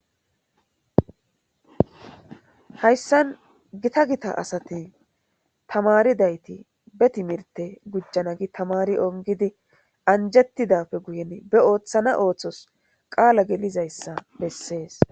Hayissan Gita Gita asati tamaridayitta be timirte gujanna gii tamari ungidd anjetidappe guye be oththana oththos qala gelizayissa besses.